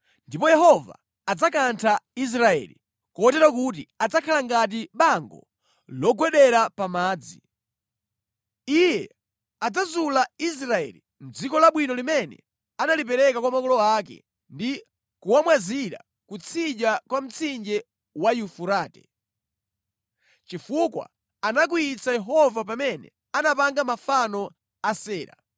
Ndipo Yehova adzakantha Israeli, kotero kuti adzakhala ngati bango logwedera pa madzi. Iye adzazula Israeli mʼdziko labwino limene analipereka kwa makolo ake ndi kuwamwazira kutsidya kwa mtsinje wa Yufurate, chifukwa anakwiyitsa Yehova pamene anapanga mafano a Asera.